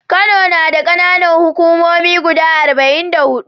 Kano nada kAna Nan hukumomi guda arba'in da hudu